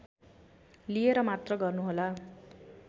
लिएर मात्र गर्नुहोला